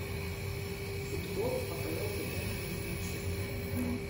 футбол апл тоттенхэм с манчестером